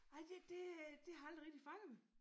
Nej det det øh det har aldrig rigtig fanget mig